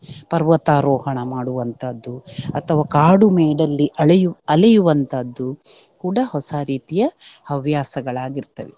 ಪರ್ವತಾರೋಹಣ ಮಾಡುವಂತಹದ್ದು ಅಥವಾ ಕಾಡುಮೇಡಲ್ಲಿ ಅಳೆಯು~ ಅಲೆಯುವಂತಹದ್ದು ಕೂಡ ಹೊಸ ರೀತಿಯ ಹವ್ಯಾಸಗಳಾಗಿರ್ತವೆ.